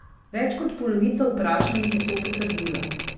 Več kot polovica vprašanih je to potrdila.